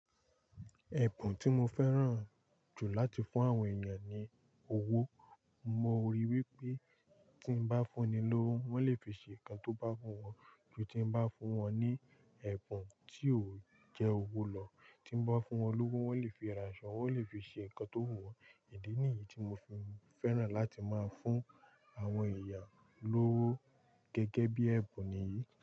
Ẹ̀bùn tí mo fẹ́ràn jù láti fún àwọn èèyàn ni owó. Mo ríi wípé tí n bá fún ni lówó, wọ́n le fi ṣe nǹkan tó bá wù wọn, ju tí n bá fún wọn ní ẹ̀bùn tí ó jẹ́ owó lọ. Tí n bá fún wọn lówó, wọ́n lè fi ra aṣọ́, wọ́n lè fi ṣe ǹkan tó wù wọ́n. Idí nìyí tí mo fi fẹ́ràn láti máa fún àwọn èèyàn lówó gẹ́gẹ́ bí ẹ̀bùn nì yíí.